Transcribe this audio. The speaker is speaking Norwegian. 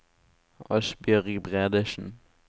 Asbjørg Bredesen